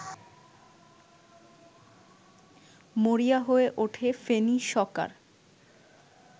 মরিয়া হয়ে ওঠে ফেনী সকার